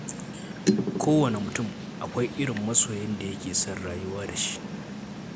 Kowane mutum akwai irin masoyin da yake son rayuwa da shi.